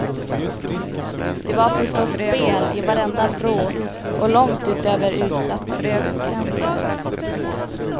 Det var förstås spel i varenda vrå och långt utöver utsatta tidsgränser.